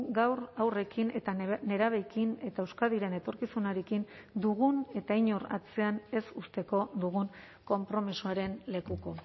gaur haurrekin eta nerabeekin eta euskadiren etorkizunarekin dugun eta inor atzean ez uzteko dugun konpromisoaren lekuko